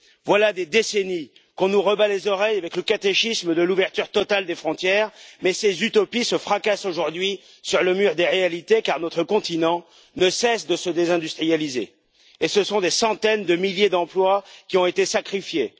Voilà des décennies qu'on nous rebat les oreilles avec le catéchisme de l'ouverture totale des frontières, mais ces utopies se fracassent aujourd'hui sur le mur des réalités car notre continent ne cesse de se désindustrialiser et ce sont des centaines de milliers d'emplois qui ont été sacrifiés.